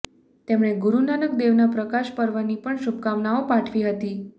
તેમણે ગુરુનાનક દેવના પ્રકાશ પર્વની પણ શુભકામનાઓ પાઠવી હતી